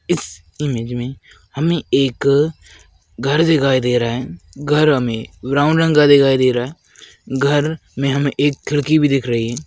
इस इमेज में हमे एक अ घर दिखाई दे रहा है घर हमे ब्राउन का दिखाई दे रहा है घर में हमे एक खिड़की भी दिख रही है।